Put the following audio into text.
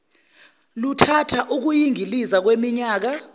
luthatha ukuyingiliza kweminyaka